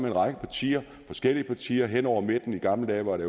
en række partier forskellige partier hen over midten i gamle dage var det